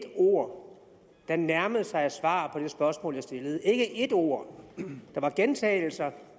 ord der nærmede sig et svar på det spørgsmål jeg stillede ikke et ord der var gentagelser